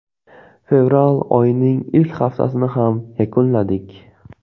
Fevral oyining ilk haftasini ham yakunladik.